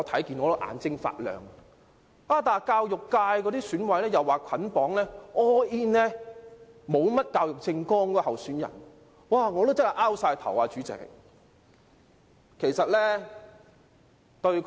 然而，教育界的選委說會捆綁投票給那位沒有教育政綱的候選人，我真的摸不着頭腦。